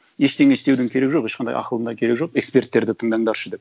ештеңе істеудің керегі жоқ ешқандай ақылдың да керегі жоқ эксперттерді тыңдандаршы деп